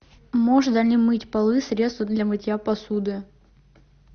можно ли мыть полы средством для мытья посуды